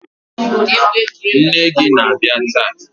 Nne gi ana bịa taa?